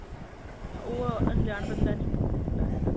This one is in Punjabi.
ਹਾਂ ਉਹ ਅਨਜਾਨ ਬੰਦਾ ਨਹੀਂ ਕਰ ਸਕਦਾ ਹੈਗਾ